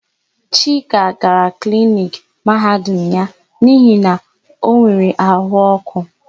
Chika gara na kliniki Mahadum ya n'ihi na o nwere áhụ̀ ọ́kụ́.